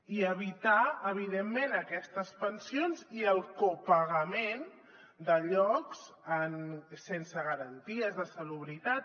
i evitar evidentment aquestes pensions i el copagament de llocs sense garanties de salubritat